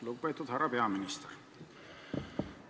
Lugupeetud härra peaminister!